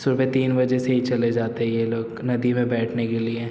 सुबह तीन बजे से ही चले जाते है यह लोग नदी मे बेठने के लिये --